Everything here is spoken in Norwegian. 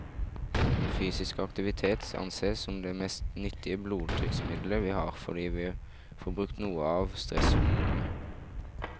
Fysisk aktivitet ansees som det mest nyttige blodtrykksmiddelet vi har, fordi vi får brukt noe av stresshormonene.